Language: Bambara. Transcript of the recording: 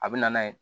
A bɛ na n'a ye